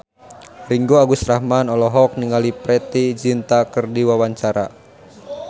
Ringgo Agus Rahman olohok ningali Preity Zinta keur diwawancara